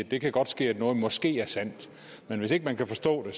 det kan godt ske at noget måske er sandt men hvis ikke man kan forstå det